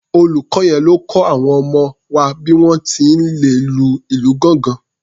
Olùkọ yẹn ló kọ àwọn ọmọ wa bí wọ́n ti lè lu ìlù gángan.